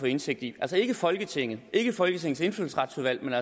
indsigt i altså ikke folketinget og ikke folketingets indfødsretsudvalg men